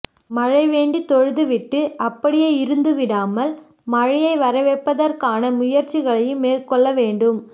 மழை வேண்டி தொழுது விட்டு அப்படியே இருந்து விடாமல் மழையை வரவைப்பதற்கான முயற்சிகளையும் மேற்கொள்ளவேண்டும்